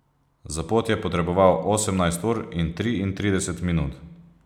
Za pot je potreboval osemnajst ur in triintrideset minut.